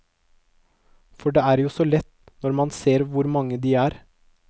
For det er jo så lett når man ser hvor mange de er.